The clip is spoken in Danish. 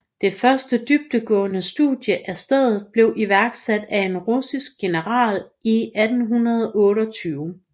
Det første dybdegående studie af stedet blev iværksat af en russisk general i 1828